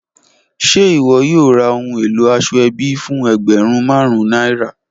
Ṣe iwọ yoo ra ohun elo asoebi fun ẹgbẹrun marun naira?